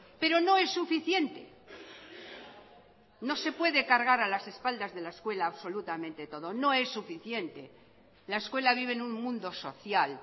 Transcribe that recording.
pero no es suficiente no se puede cargar a las espaldas de la escuela absolutamente todo no es suficiente la escuela vive en un mundo social